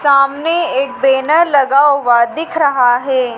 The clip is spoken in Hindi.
सामने एक बैनर लगा हुआ दिख रहा है।